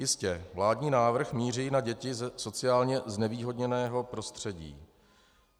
Jistě, vládní návrh míří na děti ze sociálně znevýhodněného prostředí.